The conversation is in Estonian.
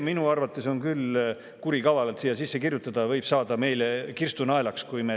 Minu arvates on see küll kurikavalalt siia sisse kirjutatud.